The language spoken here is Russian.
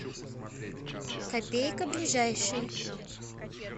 копейка ближайший